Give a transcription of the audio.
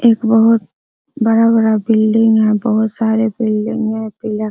एक बहुत बड़ा-बड़ा बिल्डिंग है बहुत सारे बिल्डिंग है पिला --